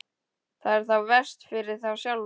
Það er þá verst fyrir þá sjálfa.